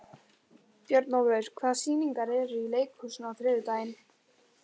Björnólfur, hvaða sýningar eru í leikhúsinu á þriðjudaginn?